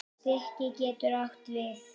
Stiki getur átt við